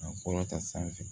Ka kɔrɔ ta sanfɛ